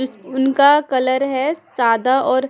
जिस उनका कलर है सादा और--